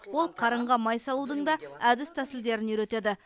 ол қарынға май салудың да әдіс тәсілдерін үйретеді